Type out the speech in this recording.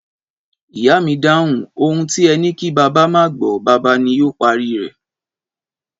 Ìyá mi dáhùn, 'Ohun ti e ni ki baba maa a gbo, baba ni yoo pari re'